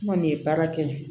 N kɔni ye baara kɛ